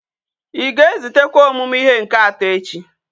Íga ezutekwa omumu ihe nke ato echi?